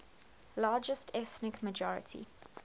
largest ethnic minority